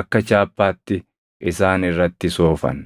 akka chaappaatti isaan irratti soofan.